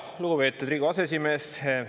Lugupeetud Riigikogu aseesimees!